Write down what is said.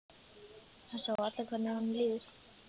Það sjá allir hvernig honum líður.